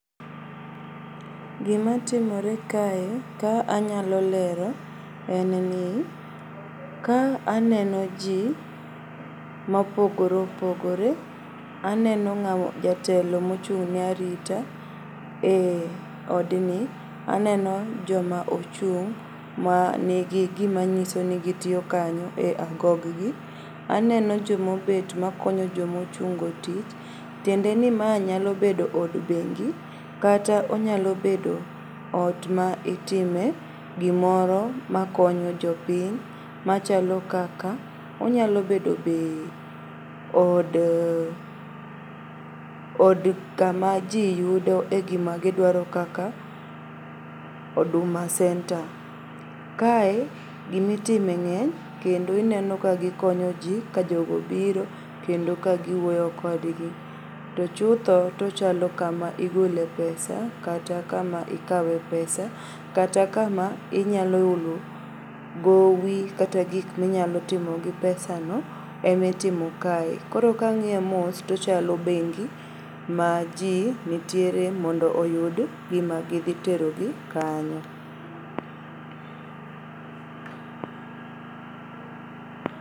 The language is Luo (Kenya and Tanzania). Gimatimore kae ka anyalolero en ni ka aneno jii mopogore opogore. Aneno jatelo mochung'ne arita e odni. Aneno joma ochung' manigi gimanyisoni gitio kanyo be agoggi. Aneno jomobet makonyo jomochung'go e tich tiendeni maa nyalobedo od bengi kata onyalobedo ot ma itime gimoro makonyo jopiny machalo kaka onyalo bedo be od kama jii yudo e gimagidwaro kaka huduma center. Kae gimitime ng'eny kendo ineno ka gikonyo jii kajogo biro kendo ka giwuoyo kodgi. To chutho tachalo kama igole pesa kata kama ikawe pesa kata kama inyalo olo gowi kata gik minyalotimo gii pesa no emitimo kae. Koro kang'ie mos tochalo bengi ma jii nitiere mondo oyud gima gidhiterogi kanyo.